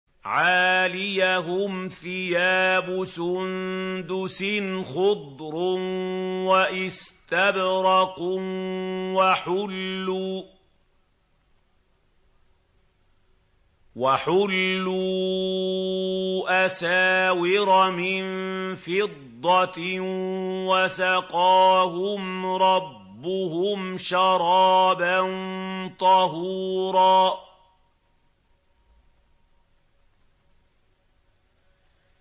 عَالِيَهُمْ ثِيَابُ سُندُسٍ خُضْرٌ وَإِسْتَبْرَقٌ ۖ وَحُلُّوا أَسَاوِرَ مِن فِضَّةٍ وَسَقَاهُمْ رَبُّهُمْ شَرَابًا طَهُورًا